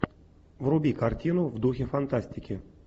вруби картину в духе фантастики